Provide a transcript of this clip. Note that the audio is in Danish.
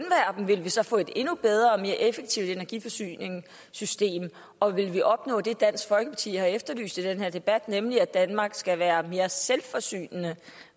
dem ville vi så få et endnu bedre og mere effektivt energiforsyningssystem og ville vi opnå det dansk folkeparti har efterlyst i den her debat nemlig at danmark skal være mere selvforsynende